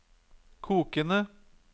kokende